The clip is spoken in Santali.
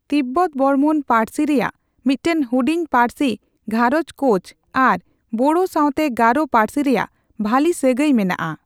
ᱛᱤᱵᱵᱚᱛᱼ ᱵᱚᱨᱢᱚᱱ ᱯᱟᱹᱲᱥᱤ ᱨᱮᱭᱟᱜ ᱢᱤᱫᱴᱟᱝ ᱦᱩᱰᱤᱧ ᱯᱟᱹᱲᱥᱤ ᱜᱷᱟᱸᱨᱚᱪ ᱠᱳᱪ ᱟᱨ ᱵᱳᱲᱳ ᱥᱟᱣᱛᱮ ᱜᱟᱨᱳ ᱯᱟᱹᱨᱥᱤ ᱨᱮᱭᱟᱜ ᱵᱷᱟᱹᱞᱤ ᱥᱟᱹᱜᱟᱹᱭ ᱢᱮᱱᱟᱜᱼᱟ ᱾